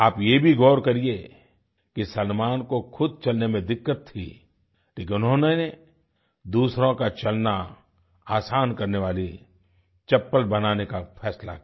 आप ये भी गौर करिए कि सलमान को खुद चलने में दिक्कत थी लेकिन उन्होंने दूसरों का चलना आसान करने वाली चप्पल बनाने का फैसला किया